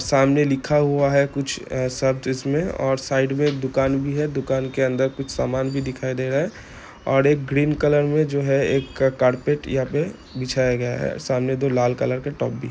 सामने लिखा हुआ है कुछ शब्द इसमें और साइड मे एक दुकान भी है दुकान के अंदर कुछ सामान भी दिखाई दे रहा है और एक ग्रीन कलर मे जो है। एक क कार्पेट यहां पे बिछाया गया है सामने दो लाल कलर के --